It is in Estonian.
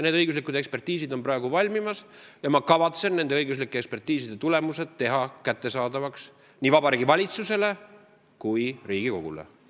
Need õiguslikud ekspertiisid on valmimas ja ma kavatsen nende tulemused teha kättesaadavaks nii Vabariigi Valitsusele kui Riigikogule.